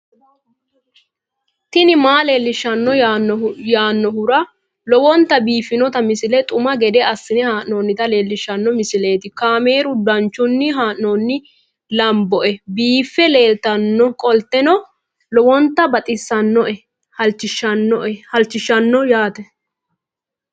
tini maa leelishshanno yaannohura lowonta biiffanota misile xuma gede assine haa'noonnita leellishshanno misileeti kaameru danchunni haa'noonni lamboe biiffe leeeltannoqolten lowonta baxissannoe halchishshanno yaate